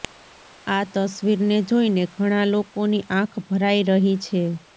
આ તસ્વીર ને જોઇને ઘણા લોકો ની આંખ ભરાઈ રહી છે